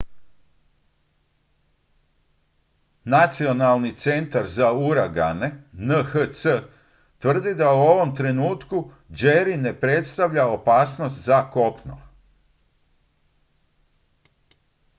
nacionalni centar za uragane nhc tvrdi da u ovom trenutku jerry ne predstavlja opasnost za kopno